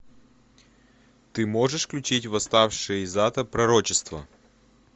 ты можешь включить восставшие из ада пророчество